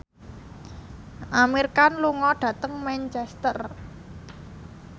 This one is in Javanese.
Amir Khan lunga dhateng Manchester